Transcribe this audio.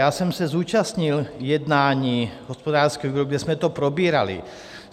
Já jsem se zúčastnil jednání hospodářského výboru, kde jsme to probírali.